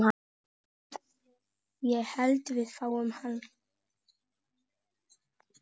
Ég hlusta á Kalla.